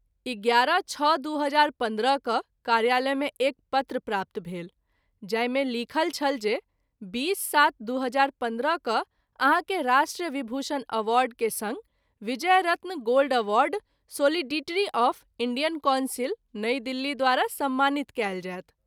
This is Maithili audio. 11-06-2015 क’ कार्यालय मे एक पत्र प्राप्त भेल जाहि मे लिखल छल जे 20-07-2015 क’ आहाँ के राष्ट्र विभूषण अवार्ड के संग Vijay Ratna gold award solidarity of Indian council, New Delhi द्वारा सम्मानित कएल जायत।